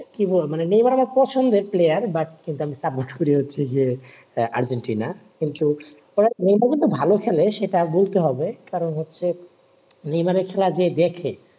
কি বলব নেমার আমার পছন্দের player কিন্তু আমি support করছি যে আর্জেন্টিনা কিন্তু নেইমারা কিন্তু ভালো খেলে সেটা বলতে হবে কারণ হচ্ছে নেইমারের খেলা যে দেখে